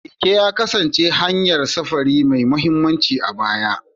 Keke ya kasance hanyar safari mai mahimmanci a baya.